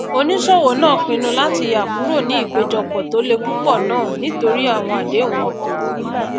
oníṣòwò náà pinnu láti yà kúrò ní ìpèjọpọ tó lè púpọ nàà nítorí àwọn àdéhùn wọn kò wò